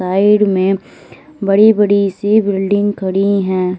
Side में बड़ी बड़ी सी बिल्डिंग खड़ी हैं।